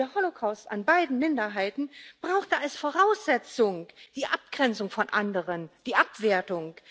Der Holocaust an beiden Minderheiten brauchte als Voraussetzung die Abgrenzung von anderen, die Abwertung.